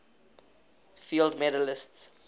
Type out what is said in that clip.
fields medalists